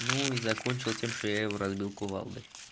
ну и закончил тем что я его разбил кувалдой